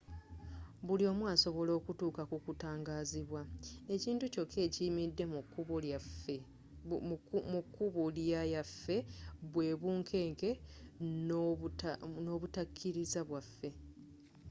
buli omu asobola okutuuka ku kutangazibwa ekintu kyokka ekiyimiridde mu kubo lya yaffe bwe bunkenke n'obutakiriza bwaafe